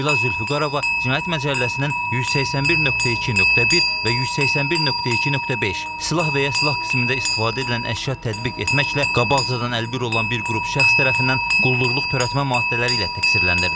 Leyla Zülfüqarova cinayət məcəlləsinin 181.2.1 və 181.2.5 (silah və ya silah qismində istifadə edilən əşya tətbiq etməklə qabaqcadan əlbir olan bir qrup şəxs tərəfindən quldurluq törətmə) maddələri ilə təqsirləndirilib.